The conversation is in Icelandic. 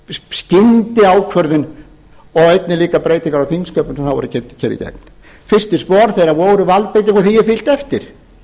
skyndiákvörðun og einnig líka breytingar á þingsköpum sem þá voru keyrðar hér í gegn fyrstu spor þeirra voru valdbeiting og því er fylgt eftir